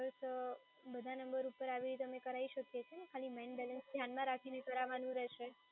તો બધા ઉપર આવી રીતે અમે કરાવી શકીએ છીએ ને, ખાલી મેઈન બેલેન્સ ધ્યાનમાં રાખીને કરાવવાનું રહેશે.